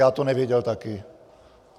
Já to nevěděl taky.